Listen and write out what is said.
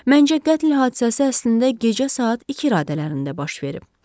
Məncə, qətl hadisəsi əslində gecə saat ikilərində baş verib.